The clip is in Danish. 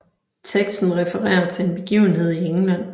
Teksten refererer til en begivenhed i England